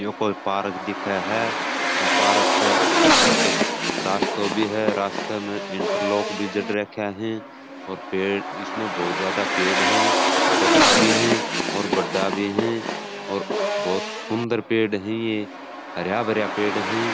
यो कोई पार्क दिखे है पार्क एक रास्तो भी है रास्तो में इंटरलॉक भी जड़ रखे है और पेड़ इसमें बहुत ज्यादा पेड़ है छोटा भी है और बड्डा भी है और बहुत सुन्दर पेड़ है ये हराभरा पेड़ है।